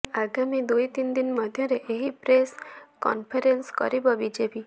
ଆଗାମୀ ଦୁଇ ତିନ ମଧ୍ୟରେ ଏହି ପ୍ରେସ କନଫରେନସ କରିବ ବିଜେପି